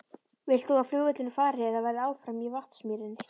Vilt þú að flugvöllurinn fari eða verði áfram í Vatnsmýrinni?